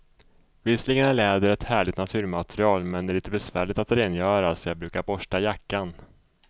Visserligen är läder ett härligt naturmaterial, men det är lite besvärligt att rengöra, så jag brukar borsta jackan.